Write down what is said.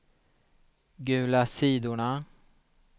gula sidorna